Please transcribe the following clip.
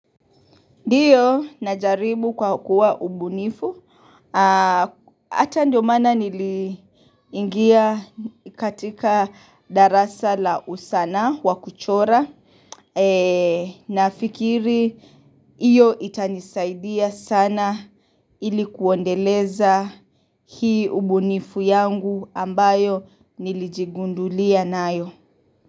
Ndiyo, najaribu kwa kuwa ubunifu, ata ndio maana niliingia katika darasa la usanaa wa kuchora, nafikiri iyo itanisaidia sana ili kuendeleza hii ubunifu yangu ambayo nilijigundulia nayo.